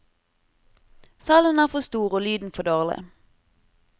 Salen er for stor, og lyden for dårlig.